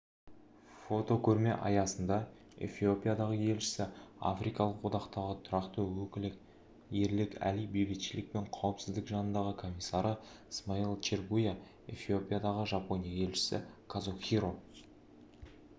фотокөрме аясында эфиопиядағы елшісі африкалық одақтағы тұрақты өкілі ерлік әли бейбітшілік пен қауіпсіздік жанындағы комиссары смайыл чергуя эфиопиядағы жапония елшісі казухиро